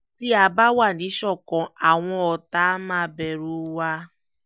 tí a bá wà níṣọ̀kan àwọn ọ̀tá máa bẹ̀rù wa